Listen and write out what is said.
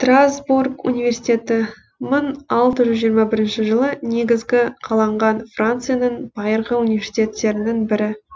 страсбург университеті мың алты жүз жиырма бірінші жылы негізгі қаланған францияның байырғы университеттерінің бірі